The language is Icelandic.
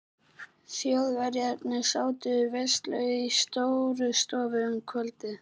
Þjóðverjarnir sátu veislu í Stórustofu um kvöldið.